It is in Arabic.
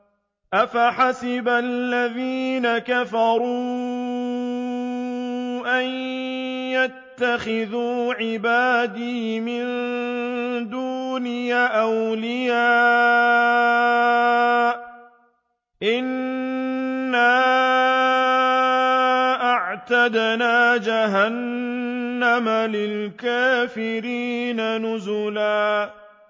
أَفَحَسِبَ الَّذِينَ كَفَرُوا أَن يَتَّخِذُوا عِبَادِي مِن دُونِي أَوْلِيَاءَ ۚ إِنَّا أَعْتَدْنَا جَهَنَّمَ لِلْكَافِرِينَ نُزُلًا